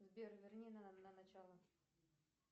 сбер верни на начало